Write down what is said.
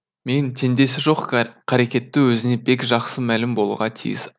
мен теңдесі жоқ қарекеті өзіңе бек жақсы мәлім болуға тиіс